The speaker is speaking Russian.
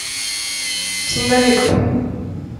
снеговик